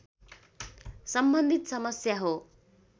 सम्बन्धित समस्या हो